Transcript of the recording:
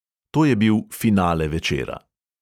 To je bil finale večera.